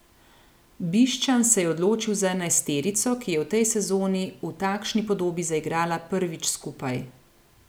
Bišćan se je odločil za enajsterico, ki je v tej sezoni v takšni podobi zaigrala prvič skupaj.